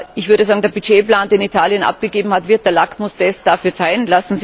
Ich würde sagen, der Budgetplan, den Italien abgegeben hat, wird der Lackmustest dafür sein.